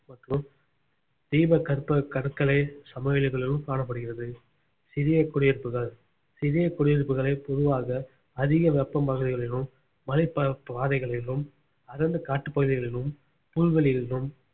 தீபகற்ப கடற்கரை சமவெளிகளும் காணப்படுகிறது சிறிய குடியிருப்புகள் சிறிய குடியிருப்புகளை பொதுவாக அதிக வெப்பம் பகுதிகளிலும் மலை ப~ பாதைகளிலும் அடர்ந்து காட்டு பகுதிகளிலும் புல்வெளிகளிலும்